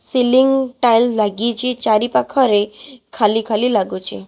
Ceiling tile ଲାଗିଚି ଚାରିପାଖରେ ଖାଲି ଖାଲି ଲାଗୁଛି।